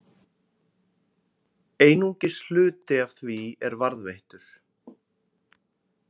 Einungis hluti af því er varðveittur.